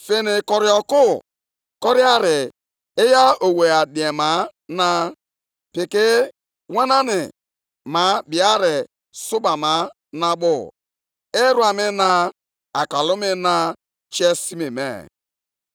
Anyanwụ na ọnwa guzokwara duu na mbara eluigwe, mgbe ha hụrụ ihe nke àkụ gị, mgbe ha hụrụ amụma nke ùbe gị gburu.